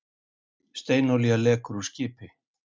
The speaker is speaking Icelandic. Steinolía lekur úr skipi